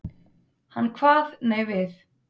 Hann kvað nei við.